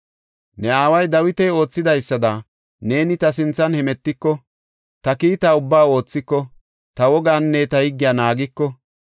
“Ne aaway Dawiti oothidaysada neeni ta sinthan hemetiko, ta kiitaa ubbaa oothiko, ta wogaanne ta higgiya naagiko,